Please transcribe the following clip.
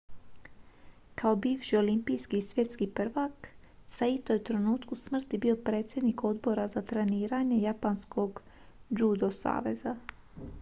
kao bivši olimpijski i svjetski prvak saito je u trenutku smrti bio predsjednik odbora za treniranje japanskog judo saveza